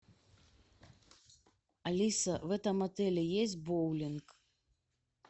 алиса в этом отеле есть боулинг